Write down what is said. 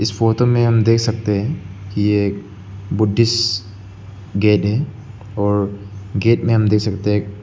इस फोटो में हम दे सकते है कि एक बुद्धिस्ट गेट है और गेट में हम दे सकते हैं --